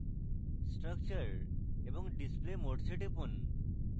structure এবং display modes এ টিপুন